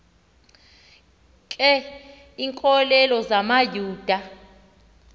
ke iinkokeli zamayuda